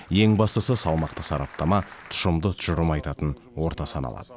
ең бастысы салмақты сараптама тұщымды тұжырым айтатын орта саналады